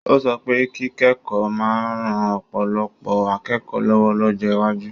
Ó sọ pé kíkẹ́kọ̀ọ́ máa ń ran ọ̀pọ̀lọpọ̀ akẹ́kọ̀ọ́ lọ́wọ́ lọ́jọ́ iwájú.